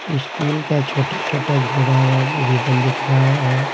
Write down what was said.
Steel का छोटा-छोटा घेरा हुआ इवरिबन दिख रहा है।